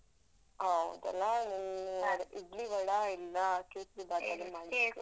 ಹೌದಲ್ಲ ಇಡ್ಲಿ ವಡಾ ಇಲ್ಲ ಕೇಸ್ರಿ ಬಾತ್ ಏನ್ ಆದ್ರು